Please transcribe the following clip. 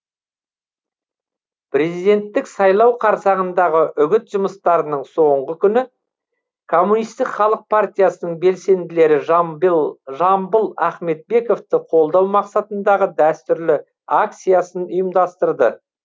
президенттік сайлау қарсаңындағы үгіт жұмыстарының соңғы күні коммунистік халық партиясының белсенділері жамбыил жамбыл ахметбековты қолдау мақсатындағы дәстүрлі акциясын ұйымдастырды